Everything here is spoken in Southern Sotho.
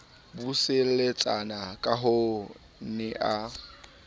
buseletsana kahoo o ne a